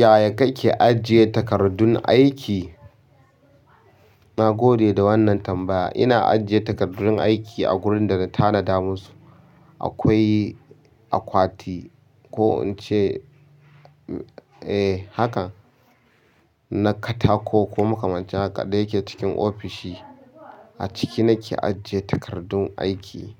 Yaya kake ajiye takardun aiki? Na gode da wannan tambaya. Ina ajiye takardun aiki a gurin da na tanada musu. Akwai akwati ko in ce, eh, hakan na katako ko makamancin haka, da yake cikin ofishi. A ciki nake ajiye takardun aiki.